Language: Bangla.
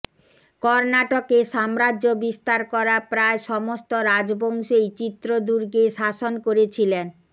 কর্নাটকে সাম্রাজ্য বিস্তার করা প্রায় সমস্ত রাজবংশই চিত্রদুর্গে শাসন করেছিলেন